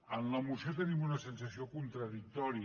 en la moció tenim una sensació contradictòria